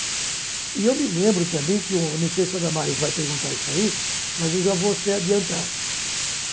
E eu me lembro também, que o não sei se a Damaris vai perguntar isso aí, mas eu já vou até adiantar.